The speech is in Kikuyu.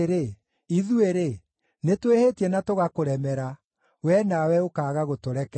“Ithuĩ-rĩ, nĩtwĩhĩtie na tũgakũremera, wee nawe ũkaaga gũtũrekera.